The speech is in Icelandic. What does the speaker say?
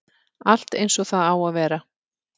Allt eins og það á að vera